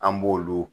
An b'olu